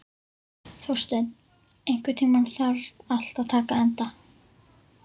Þórsteinn, einhvern tímann þarf allt að taka enda.